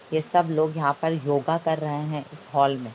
ये सब लोग यहां योगा कर रहें है हॉल में।